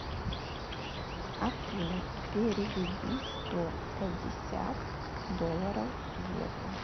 афина переведи сто пятьдесят долларов в евро